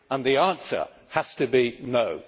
The answer has to be no'.